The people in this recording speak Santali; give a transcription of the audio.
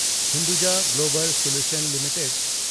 Hinduja global solution limited